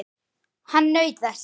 Hann naut þess.